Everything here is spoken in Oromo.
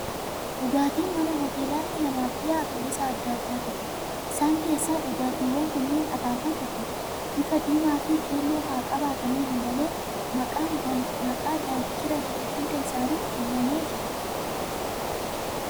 Dhugaatiin mana hoteelaatii namaaf dhiyaatu gosa adda addaatu jiru. Isaan keessaa dhugaatiiwwan kunneen akaakuu tokkodha. Bifa diimaa fi keelloo haa qabaatan iyyuu malee, maqaan " Daankiraa" jedhu hunda isaaniif kennamee jira.